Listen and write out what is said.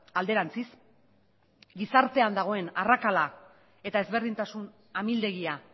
alderantziz gizartean dagoen arrakala eta ezberdintasun amildegia